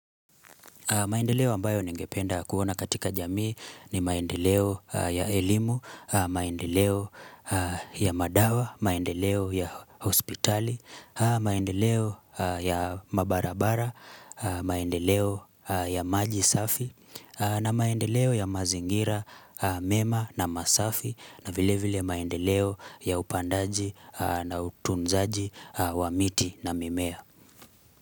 Maendeleo ambayo ningependa kuona katika jamii ni maendeleo ya elimu, maendeleo ya madawa, maendeleo ya hospitali, maendeleo ya mabarabara, maendeleo ya maji safi, na maendeleo ya mazingira mema na masafi, na vile vile maendeleo ya upandaji na utunzaji wa miti na mimea.